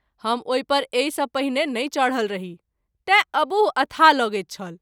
हम ओहि पर एहि सँ पहिने नहिं चढल रही तैँ अबूह अथाह लगैत छल।